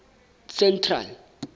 central